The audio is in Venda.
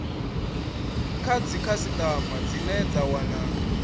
kha dzikhasitama dzine dza wana